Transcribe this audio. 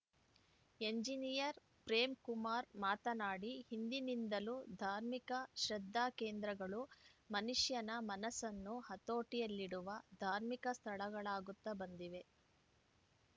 engineer Premkumar ಮಾತನಾಡಿ ಹಿಂದಿನಿಂದಲೂ ಧಾರ್ಮಿಕ ಶ್ರದ್ಧಾಕೇಂದ್ರಗಳು ಮನುಷ್ಯನ ಮನಸ್ಸನ್ನು ಹತೋಟಿಯಲ್ಲಿಡುವ ಧಾರ್ಮಿಕ ಸ್ಥಳಗಳಾಗುತ್ತ ಬಂದಿವೆ